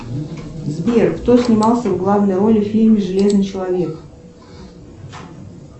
сбер кто снимался в главной роли в фильме железный человек